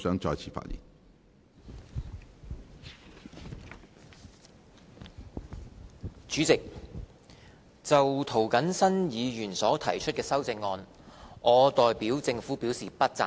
主席，就涂謹申議員所提出的修正案，我代表政府表示不贊成。